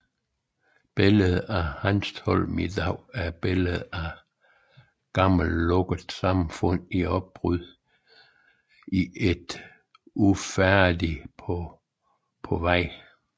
Billedet af Hanstholm i dag er billedet af et gammelt lukket samfund i opbrud og et nyt ufærdigt på vej